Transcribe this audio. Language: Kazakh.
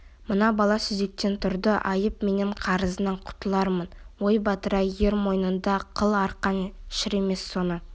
мына бала сүзектен тұрды айып менен қарызыңнан құтылармын ой батыр-ай ер мойнында қыл арқан шірімес соны